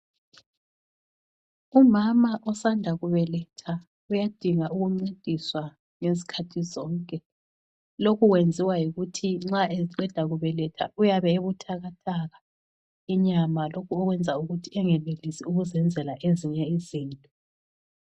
Umama usanda kubeletha uyadinga ukuncediswa ngezikhathi zonke, lokhu kwenziwa yikuthi nxa eqeda kubeletha uyabe ebuthakathaka inyama lokho okwenza ukuthi engenelisi ukuzenzela ezinye izinto.